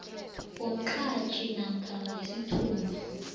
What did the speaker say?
womqhatjhi namkha wesithunywa